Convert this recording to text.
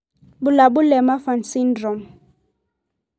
Bulabul le Marfan syndrome.